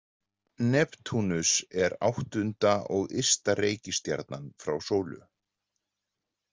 Neptúnus er áttunda og ysta reikistjarnan frá sól.